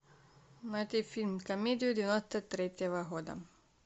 найди фильм комедию девяносто третьего года